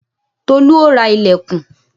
Tolu ó ra ìlẹ̀kùn